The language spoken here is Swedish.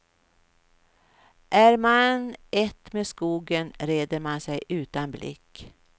Är man ett med skogen, reder man sig utan blick.